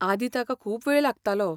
आदीं ताका खूब वेळ लागतालो.